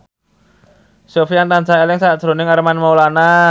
Sofyan tansah eling sakjroning Armand Maulana